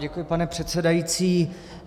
Děkuji, pane předsedající.